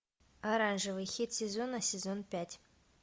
оранжевый хит сезона сезон пять